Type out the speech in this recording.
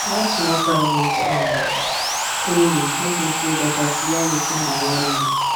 that small private um clinic make me feel better to yarn wetin dey worry me